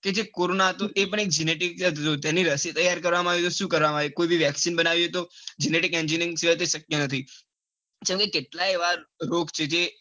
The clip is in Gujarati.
કેજે corona હતો તે પણ એક genetic હતો તેની રસી તૈયાર કરવામાં આવ્યું તો પણ સુ કર્યું કોઈ બી vaccine બનવી હોય તો genetic engineering સિવાય તે શક્ય નથી.